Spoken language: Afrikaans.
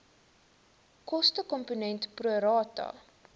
kostekomponent pro rata